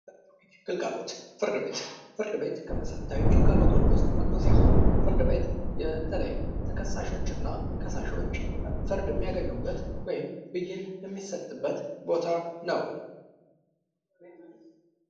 ግልጋሎት ፍርድ ቤት፤ ፍርድ ቤት ከመሰረታዊ ግልጋሎቶች አንዱ ሲሆን ፍርድ ቤት በተልይም ተከሳሾችና ከሳሾች ፍርድ የሚያገኙበት ወይም ብይን የሚሰጥበት ቦታ ነው።